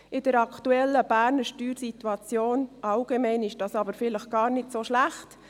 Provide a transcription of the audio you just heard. In der aktuellen Berner Steuersituation allgemein ist das aber vielleicht gar nicht so schlecht.